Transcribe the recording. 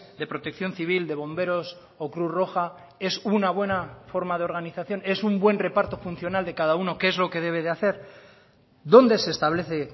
de protección civil de bomberos o cruz roja es una buena forma de organización es un buen reparto funcional de cada uno qué es lo que debe de hacer dónde se establece